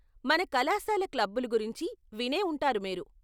మన కళాశాల క్లబ్బులు గురించి వినేవుంటారు మీరు.